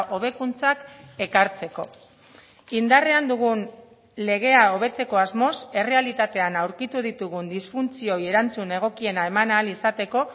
hobekuntzak ekartzeko indarrean dugun legea hobetzeko asmoz errealitatean aurkitu ditugun disfuntzioei erantzun egokiena eman ahal izateko